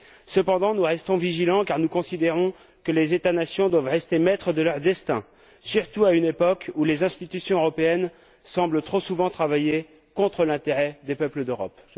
Cependant, nous restons vigilants car nous considérons que les États nations doivent rester maîtres de leur destin, surtout à une époque où les institutions européennes semblent, trop souvent, travailler contre l'intérêt des peuples d'Europe.